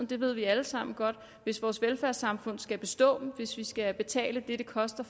det ved vi alle sammen godt hvis vores velfærdssamfund skal bestå hvis vi skal betale det det koster